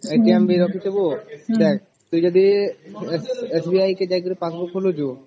ବି ରଖିଥିବୁ ତୁ ଯଦି SBI ଯାଇକରି passbook ଖୋଳୁଛୁ